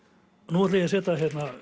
nú ætla ég að setja